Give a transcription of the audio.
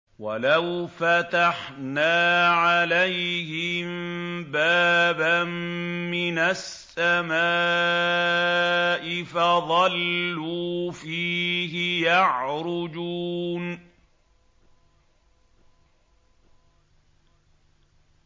وَلَوْ فَتَحْنَا عَلَيْهِم بَابًا مِّنَ السَّمَاءِ فَظَلُّوا فِيهِ يَعْرُجُونَ